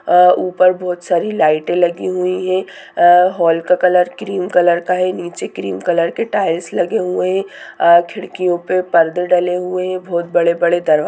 ऊपर बहुत सरे लाइटे लगी हुई है हॉल का कलर क्रीम कलर का है निचे क्रीम कलर का टाइल्स लगे हुए है खिरकियो पर पर्दे डले हुए है बहुत बढ़े बढ़े दरवाजा --